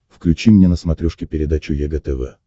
включи мне на смотрешке передачу егэ тв